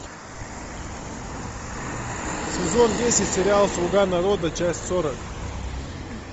сезон десять сериал слуга народа часть сорок